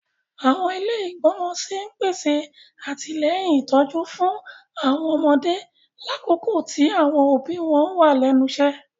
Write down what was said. Àwọn ilé igbọmọ sí n pèsè atilẹyin ìtójú fún àwọn ọmọdé lakoko ti àwọn òbí wọn wa lẹ́nu iṣẹ.